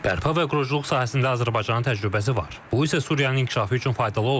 Bərpa və quruculuq sahəsində Azərbaycanın təcrübəsi var, bu isə Suriyanın inkişafı üçün faydalı ola bilər.